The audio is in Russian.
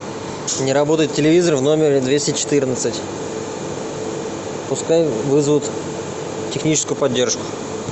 не работает телевизор в номере двести четырнадцать пускай вызовут техническую поддержку